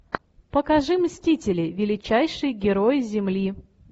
покажи мстители величайшие герои земли